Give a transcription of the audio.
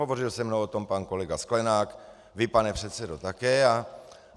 Hovořil se mnou o tom pan kolega Sklenák, vy, pane předsedo, také.